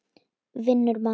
Vinnur mann.